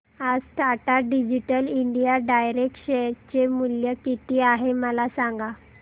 आज Tata digital India direct share चे मूल्य किती आहे मला सांगा